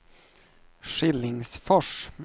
Skillingsfors